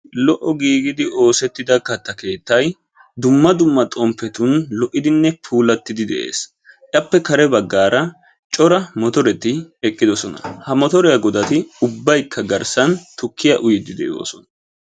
Lo"o giigidi oosettida katta keettay dumma dumma xomppetun lo"idinne puulattidi de'ees. Appe kare baggaara cora motoreti eqqidosona. Ha motoriya godati ubbaykka garssan tukkiya uyiyddi de'oosona.